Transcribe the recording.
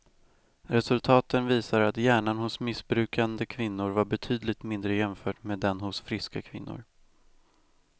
Resultaten visar att hjärnan hos missbrukande kvinnor var betydligt mindre jämfört med den hos friska kvinnor.